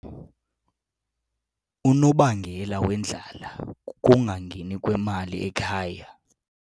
Unobangela wendlala kukungangeni kwemali ekhaya.